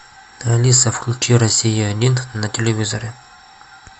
алиса включи россия один на телевизоре